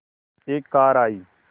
एक कार आई